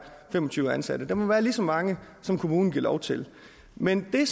fem og tyve ansatte der må være lige så mange som kommunen giver lov til men det